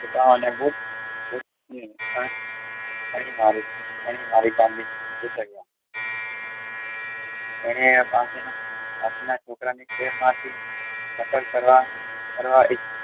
પોતાના ની ગોતી અણી મારી અહીં આવી એને પાસે ના છોકરા ની નકલ કરવા